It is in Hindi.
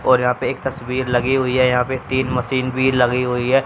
और यहां पे एक तस्वीर लगी हुई है यहां पे तीन मशीन भी लगी हुई है।